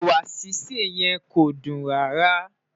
ẹwà sise yen kọ dun rárá